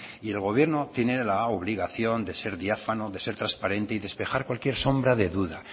y el gobierno tiene la obligación de ser diáfano de ser transparente y despejar cualquier sombra de duda